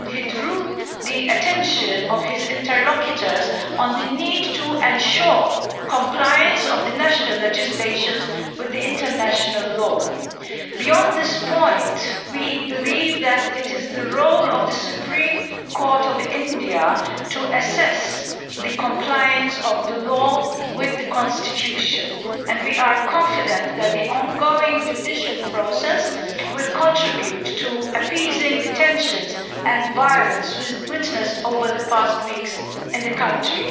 He also drew the attention of his interlocutors to the need to ensure compliance of national legislation with international law. Beyond this point, we believe that it is the role of the Supreme Court of India to assess compliance of the law with the Constitution and we are confident that the ongoing judicial process will contribute to appeasing the tensions and violence witnessed over the past weeks in the country.